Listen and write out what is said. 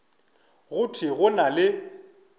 go thwe go na le